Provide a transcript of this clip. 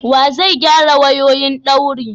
Wa zai gyara wayoyi daurin?